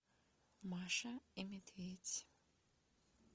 маша и медведь